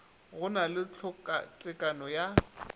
go na le tlhokatekano ya